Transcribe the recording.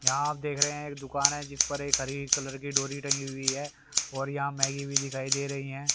यहां आप देख रहे हैं एक दुकान है जिस पर एक हरी कलर की डोरी टंगी हुई है और यहां मैगी भी दिखाई दे रही हैं।